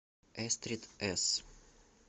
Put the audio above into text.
эстрид эс